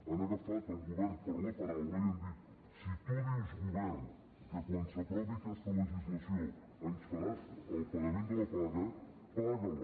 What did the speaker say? han agafat el govern per la paraula i han dit si tu dius govern que quan s’aprovi aquesta legislació ens faràs el pagament de la paga paga la